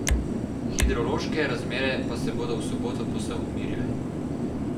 Hidrološke razmere pa se bodo v soboto povsem umirile.